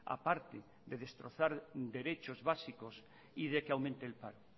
aparte de destrozar derechos básicos y de que aumente el paro